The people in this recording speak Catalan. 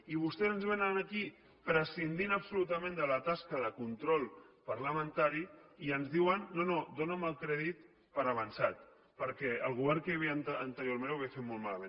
i vostès ens vénen aquí prescindint absolutament de la tasca de control parlamentari i ens diuen no no dóna’m el crèdit per avançat perquè el govern que hi havia anteriorment ho havia fet molt malament